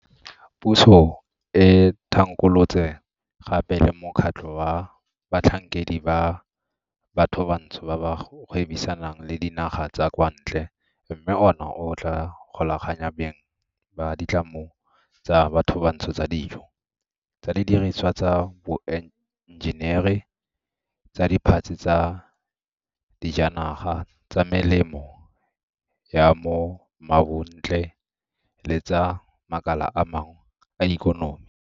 Puso e thankgolotse gape le mokgatlho wa batlhankedi ba bathobantsho ba ba gwebisanang le dinaga tsa kwa ntle mme ona o tla golaganya beng ba ditlamo tsa bathobantsho tsa dijo, tsa didirisiwa tsa boenjenere, tsa diphatse tsa dijanaga, tsa melemo ya bo mmabontle le tsa makala a mangwe a ikonomi.